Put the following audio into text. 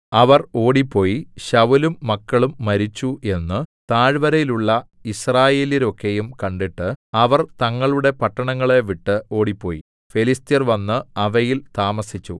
അവർ ഓടിപ്പോയി ശൌലും മക്കളും മരിച്ചു എന്നു താഴ്വരയിലുള്ള യിസ്രായേല്യരൊക്കെയും കണ്ടിട്ട് അവർ തങ്ങളുടെ പട്ടണങ്ങളെ വിട്ടു ഓടിപ്പോയി ഫെലിസ്ത്യർ വന്നു അവയിൽ താമസിച്ചു